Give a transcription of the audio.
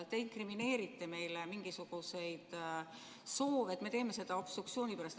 Te inkrimineerite meile mingisuguseid soove, et me teeme seda obstruktsiooni pärast.